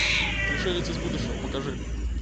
пришелец из будущего покажи